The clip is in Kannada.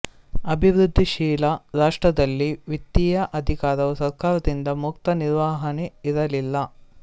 ಅಭಿವೃದ್ಧಿಶೀಲ ರಾಷ್ಟ್ರದಲ್ಲಿ ವಿತ್ತೀಯ ಅಧಿಕಾರವು ಸರ್ಕಾರದಿಂದ ಮುಕ್ತ ನಿರ್ವಹಣೆ ಇರಲಿಲ್ಲ